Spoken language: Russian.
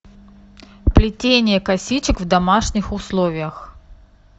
плетение косичек в домашних условиях